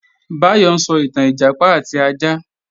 Báyọ̀ ń sọ ìtàn Ìjàpá àti ajá